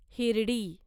Hirdi